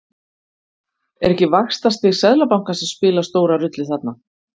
Er ekki vaxtastig Seðlabankans að spila stóra rullu þarna?